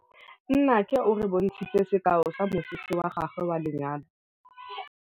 Nnake o re bontshitse sekaô sa mosese wa gagwe wa lenyalo.